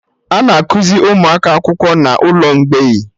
Ana akuzi ụmụaka akwụkwọ n'ụlọ mgbei